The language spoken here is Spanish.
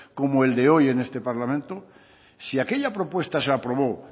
como el de hoy en este parlamento si aquella propuesta se aprobó